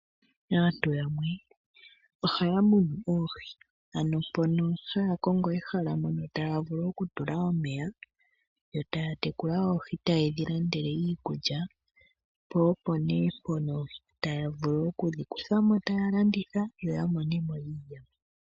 Aantu yamwe ohaya munu oohi, ano haya kongo ehala mono taya vulu okutula omeya, yo taya tekula oohi tayedhi landele iikulya, yo taya vulu okudhi kuthamo taya landitha, yo ya monemo iiyemo.